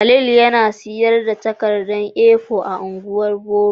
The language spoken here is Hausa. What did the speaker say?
Khalil yana sayar da takarda A4 a ungwan boro.